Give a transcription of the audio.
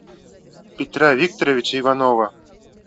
петра викторовича иванова